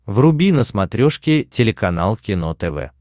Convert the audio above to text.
вруби на смотрешке телеканал кино тв